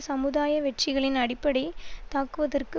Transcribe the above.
சமுதாய வெற்றிகளின் அடிப்படை தாக்குவதற்கு